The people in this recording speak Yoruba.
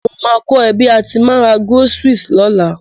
Mo ma ko ẹ bi a ti ma n ra groceries lọ́la